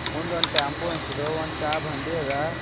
ಮುಂದ್ ಟೆಂಪು ನಿಂತದ ಒಂದು ಚಾ ಬಂಡಿ ಅದ.